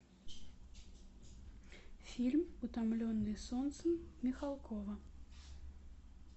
фильм утомленные солнцем михалкова